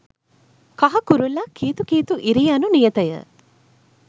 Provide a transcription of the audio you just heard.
කහ කුරුල්ලා කීතු කීතු ඉරී යනු නියතය